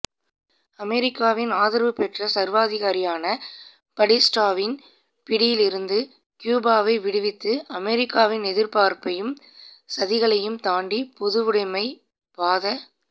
அமெரிக்காவின் ஆதரவு பெற்ற சர்வாதிகாரியான படிஸ்டாவின் பிடியிலிருந்து கியூபாவை விடுவித்து அமெரிக்காவின் எதிர்ப்பையும் சதிகளையும் தாண்டி பொதுவுடைமைப் பாத